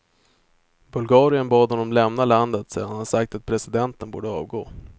Bulgarien bad honom lämna landet sedan han sagt att presidenten borde avgå.